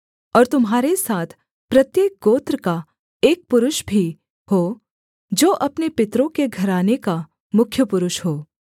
और तुम्हारे साथ प्रत्येक गोत्र का एक पुरुष भी हो जो अपने पितरों के घराने का मुख्य पुरुष हो